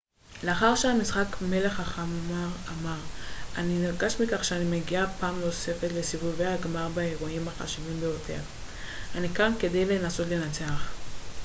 לאחר המשחק מלך החמר אמר אני נרגש מכך שאני מגיע פעם נוספת לסיבובי הגמר באירועים החשובים ביותר אני כאן כדי לנסות לנצח